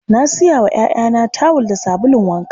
Na sayo wa 'ya'yana tawul da sabulun wanka.